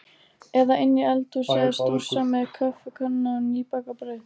Eða inni í eldhúsi að stússa með kaffikönnuna og nýbakað brauð.